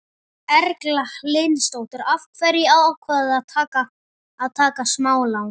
Erla Hlynsdóttir: Af hverju ákvaðstu að taka smálán?